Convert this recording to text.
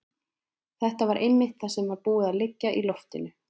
Þetta var einmitt það sem var búið að liggja í loftinu.